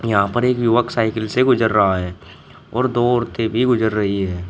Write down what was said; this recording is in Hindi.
यहां पर एक युवक साइकिल से गुजर रहा है और दो औरते भी गुजर रही है।